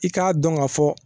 I k'a dɔn ka fɔ